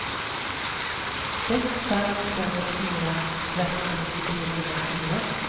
sex fem två fyra trettio trehundrafyra